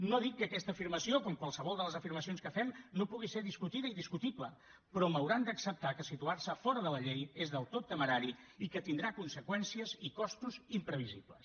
no dic que aquesta afirmació com qualsevol de les afirmacions que fem no pugui ser discutida i discutible però m’hauran d’acceptar que situar se fora de la llei és del tot temerari i que tindrà conseqüències i costos imprevisibles